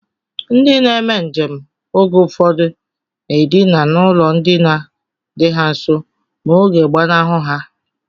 Ndị na-eme njem oge ụfọdụ na-edina n'ụlọ ndina dị ha nso ma oge gbanahụ ha